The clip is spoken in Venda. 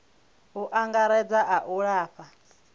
u angaredza a u lafha